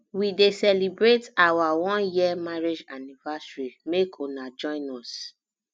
we dey celebrate our one year marriage anniversary make una join us